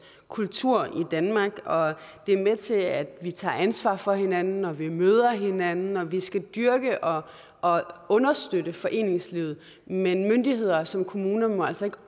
kultur i danmark og det er med til at vi tager ansvar for hinanden at vi møder hinanden og vi skal dyrke og og understøtte foreningslivet men myndigheder som kommuner må altså ikke